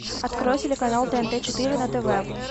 открой телеканал тнт четыре на тв